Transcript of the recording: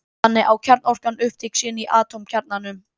Þannig á kjarnorkan upptök sín í atómkjarnanum.